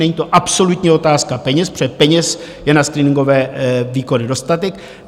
Není to absolutní otázka peněz, protože peněz je na screeningové výkony dostatek.